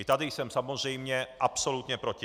I tady jsem samozřejmě absolutně proti.